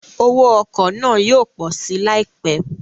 Owó ọkọ̀ náà yóò pọ̀ si láìpẹ́